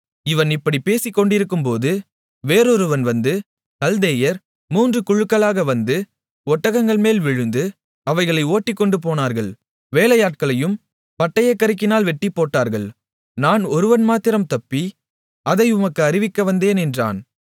இவன் இப்படிப் பேசிக்கொண்டிருக்கும்போது வேறொருவன் வந்து கல்தேயர் மூன்று குழுக்களாக வந்து ஒட்டகங்கள்மேல் விழுந்து அவைகளை ஓட்டிக்கொண்டுபோனார்கள் வேலையாட்களையும் பட்டயக்கருக்கினால் வெட்டிப்போட்டார்கள் நான் ஒருவன் மாத்திரம் தப்பி அதை உமக்கு அறிவிக்க வந்தேன் என்றான்